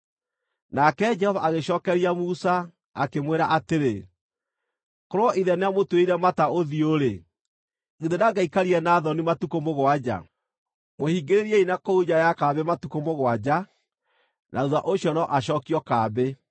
Nake Jehova agĩcookeria Musa, akĩmwĩra atĩrĩ, “Korwo ithe nĩamũtuĩrĩire mata ũthiũ-rĩ, githĩ ndangĩaikarire na thoni matukũ mũgwanja? Mũhingĩrĩriei na kũu nja ya kambĩ matukũ mũgwanja; na thuutha ũcio no acookio kambĩ.”